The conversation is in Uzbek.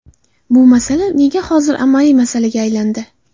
Bu masala nega hozir asosiy masalaga aylandi?